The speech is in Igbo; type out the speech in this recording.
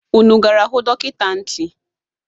Unu gara hụ dọkịta ntị?